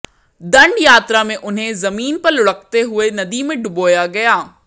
दंड यात्रा में उन्हें जमीन पर लुढ़कते हुए नदी में डुबोया गया